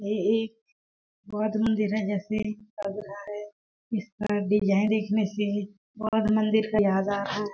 ये एक बौद्ध मंदिर है जैसे इसका डिजाइन देखने से बौद्ध मंदिर का याद आ रहा है।